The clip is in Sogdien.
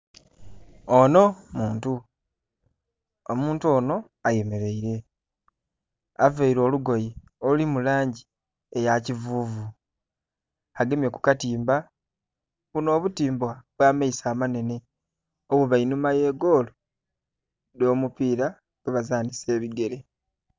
Ono muntu, omuntu ono ayemeleire avaire olugoye oluli mu langi eya kivuuvu agemye ku katimba, buno obutimba obw'amaiso amanhenhe obuba einhuma y'egoolo edh'omupiira gwebazanisa ebigere.